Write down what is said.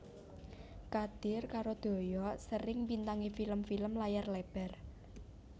Kadir karo Doyok sering mbintangi film film layar lebar